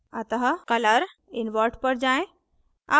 अतः colours invert पर जाएँ